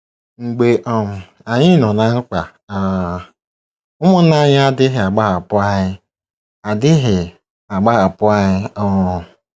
Mgbe um anyị nọ ná mkpa um, ụmụnna anyị adịghị agbahapụ anyị adịghị agbahapụ anyị um.